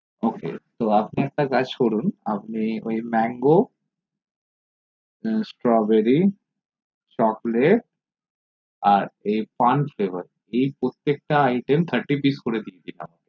ok আমি একটা কাজ করুন আপনে ওই mango strawberry chocolate আর pan flavor এই প্রত্যেক টা item therty pice করে দিন